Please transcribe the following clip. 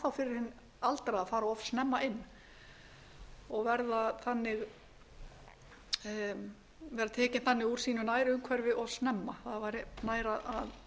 fyrir hinn aldraða að fara of snemma inn og vera tekin þannig úr sínu nærumhverfi of snemma það væri nær að